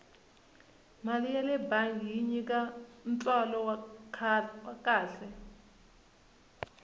mali yale bangi yi nyika ntswalo wa kahle